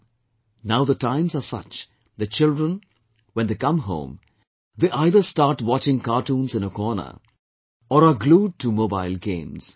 " Now the times are such that children, when they come home, they either start watching cartoons in a corner, or are glued to mobile games